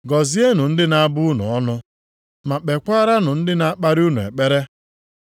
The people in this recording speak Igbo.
Gọzienụ ndị na-abụ unu ọnụ, ma kpekwaaranụ ndị na-akparị unu ekpere.